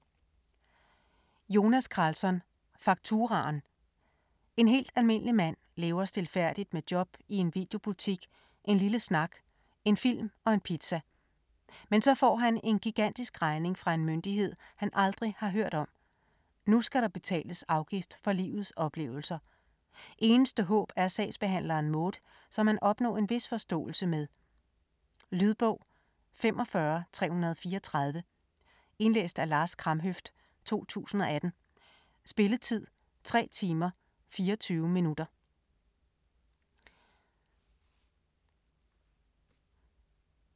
Karlsson, Jonas: Fakturaen En helt almindelig mand lever stilfærdigt med job i en videobutik, en lille snak, en film og en pizza. Men så får han en gigantisk regning fra en myndighed, han aldrig har hørt om. Nu skal der betales afgift for livets oplevelser. Eneste håb er sagsbehandleren Maud, som han opnår en vis forståelse med. Lydbog 45334 Indlæst af Lars Kramhøft, 2018. Spilletid: 3 timer, 24 minutter.